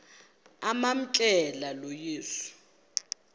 amamkela lo yesu